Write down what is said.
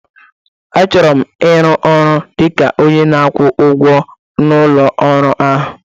Achọrọ m ịrụ ọrụ dị ka onye na-akwụ ụgwọ na ụlọ ọrụ ahụ